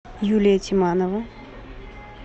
юлия тиманова